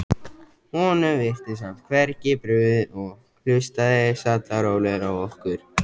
Honum virtist samt hvergi brugðið og hlustaði sallarólegur á okkur.